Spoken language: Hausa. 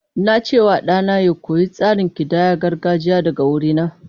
Na ce wa ɗana ya koyi tsarin kidayar gargajiya daga wurina.